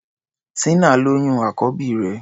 Tínà lóyún àkọ́bí rẹ̀.